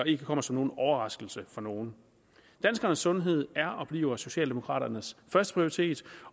ikke kommer som en overraskelse for nogen danskernes sundhed er og bliver socialdemokraternes førsteprioritet